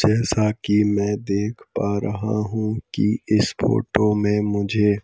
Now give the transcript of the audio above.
जैसा की मैं देख पा रहा हूं कि इस फोटो में मुझे--